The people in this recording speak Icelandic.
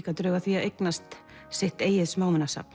drög að því að eignast sitt eigið